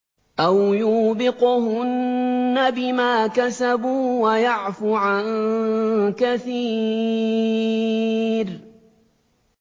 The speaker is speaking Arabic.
أَوْ يُوبِقْهُنَّ بِمَا كَسَبُوا وَيَعْفُ عَن كَثِيرٍ